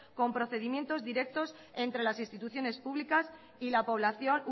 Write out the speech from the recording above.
con procedimientos directos entre las instituciones públicas y la población